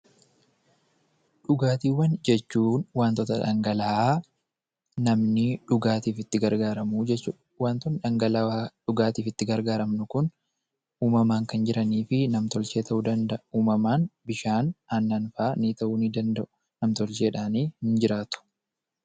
Dhugaatiiwwan jechuun wantoota dhangala'aa namni dhugaatiif itti gargaaramu jechuu dha. Wantoonni dhangalawaa dhugaatiif itti gargaaramnu kun uumamaan kan jiranii fi nam-tolchee ta'uu danda'a. Uumamaan bishaan, aannan faa ni ta'uu ni danda'u. Nam-tolcheedhaani in jiraatu.